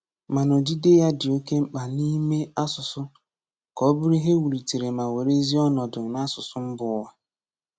Mana odide ya dị oke mkpa n’ime asụsụ ka ọ bụrụ ihe e wulitere ma were ezi ọnọdụ n’asụsụ mba ụwa.